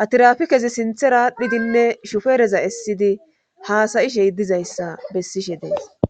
ha tirafikezi sinthe raadhidinne shufereza essidi haasayishe hidizayssa bessishe dees.